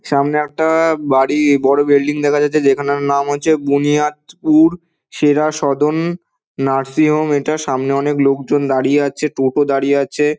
সামনে একটা বাড়ি বড়ো বিল্ডিং দেখা যাচ্ছে যেখানের নাম হচ্ছে বুনিয়াদপুর সেরা সদন নার্সি হোম এটা সামনে অনেক লোকজন দাঁড়িয়ে আছে টোটো দাঁড়িয়ে আছে।